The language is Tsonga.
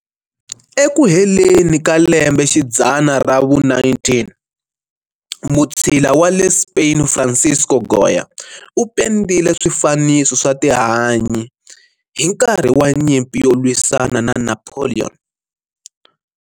Eku heleni ka lembe xidzana ra vu-19, mutshila wa le Spain Francisco Goya u pendile swifaniso swa tihanyi hi nkarhi wa nyimpi yo lwisana na Napoleon.